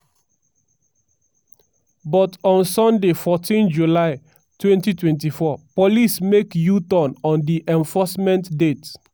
but on sunday 14 july 2024 police make u-turn on di enforcement date.